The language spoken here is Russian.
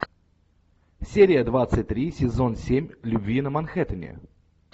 серия двадцать три сезон семь любви на манхэттене